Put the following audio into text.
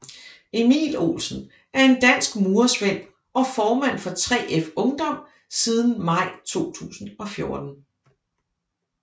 Emil Olsen er en dansk murersvend og formand for 3F Ungdom siden maj 2014